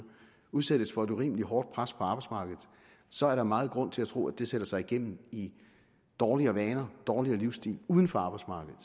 udsættes for et urimeligt hårdt pres på arbejdsmarkedet så er der meget grund til at tro at det sætter sig igennem i dårligere vaner i dårligere livsstil uden for arbejdsmarkedet